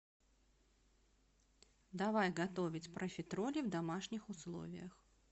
давай готовить профитроли в домашних условиях